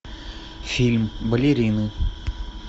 фильм балерины